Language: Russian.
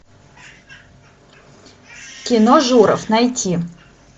кино журов найти